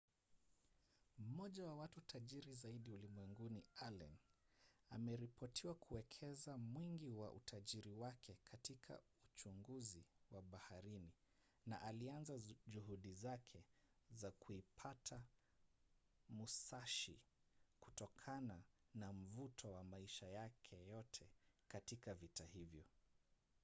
mmoja wa watu tajiri zaidi ulimwenguni allen ameripotiwa kuwekeza mwingi wa utajiri wake katika uchunguzi wa baharini na alianza juhudi zake za kuipata musashi kutokana na mvuto wa maisha yake yote katika vita hivyo